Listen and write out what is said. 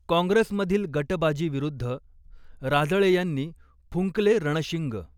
कॉंग्रेसमधील गटबाजीविरुद्ध राजळे यांनी फुंकले रणशिंग!